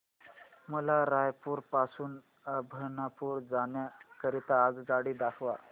मला रायपुर पासून अभनपुर जाण्या करीता आगगाडी दाखवा